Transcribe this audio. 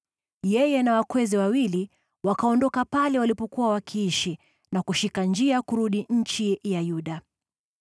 Yeye na wakweze wawili wakaondoka pale walipokuwa wakiishi na kushika njia kurudi nchi ya Yuda.